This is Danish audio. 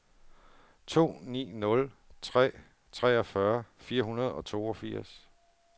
to ni nul tre treogfyrre fire hundrede og toogfirs